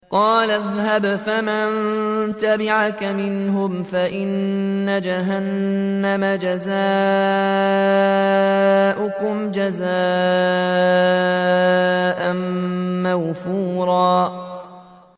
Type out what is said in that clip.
قَالَ اذْهَبْ فَمَن تَبِعَكَ مِنْهُمْ فَإِنَّ جَهَنَّمَ جَزَاؤُكُمْ جَزَاءً مَّوْفُورًا